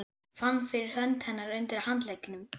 Fann fyrir hönd hennar undir handleggnum.